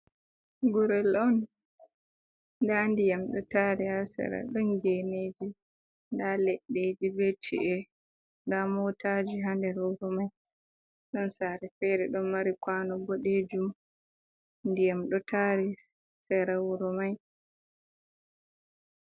Gurel ɗon nda diyam ɗo tari ha sera, ɗon geneji, nda leɗɗeji be ci’e, nda motaji ha nder wuro mai, ɗon sare fere ɗon mari kwano boɗejum, ndiyam ɗo tari sera wuro mai.